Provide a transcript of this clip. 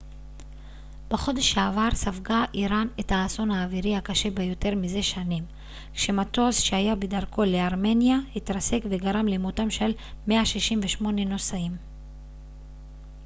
בחודש שעבר ספגה איראן את האסון האווירי הקשה ביותר מזה שנים כשמטוס שהיה בדרכו לארמניה התרסק וגרם למותם של 168 נוסעיו